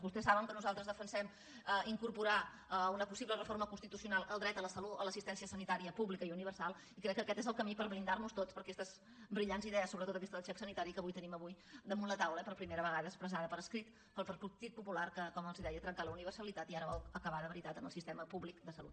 vostès saben que nosaltres defensem incorporar una possible reforma constitucional al dret a l’assistència sanitària pública i universal i crec que aquest és el camí per blindar nos tots per a aquestes brillants idees sobretot aquesta del xec sanitari que avui tenim avui damunt la taula per primera vegada expressada per escrit pel partit popular que com els deia ha trencat la universalitat i ara vol acabar de veritat amb el sistema públic de salut